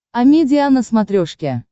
амедиа на смотрешке